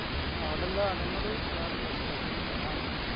അവിടെന്താ അതേന്നുള്ളു വെറുണ്ടോ Special ഇണ്ടോ സനങ്ങള്